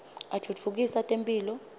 atfutfukisa temphilo